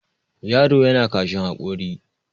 yaro yana kashin hakori